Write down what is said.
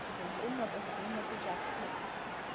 কি বলবো উন্নত হবে উন্নত জাতের হবে